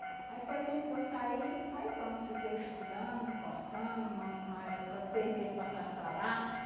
Aí foi tempo que eu saí, aí pronto, fiquei estudando, cortando, uma uma época de seis meses passava para lá.